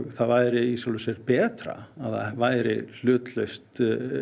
það væri í sjálfu sér betra ef það væri hlutlaust